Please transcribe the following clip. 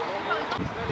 Bu qədər asandır.